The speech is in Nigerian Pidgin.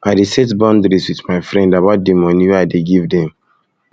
i dey set boundaries wit my friend about di moni wey i dey give dem